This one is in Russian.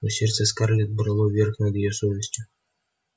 но сердце скарлетт брало верх над её совестью